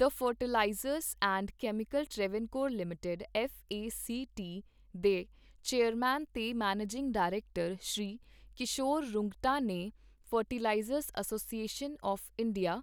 the fertilisers and chemicals Travancore limited F A C T ਦੇ chairman ਤੇ managing director, Shri Kishor Rungta ਨੇ fertilisers association of India,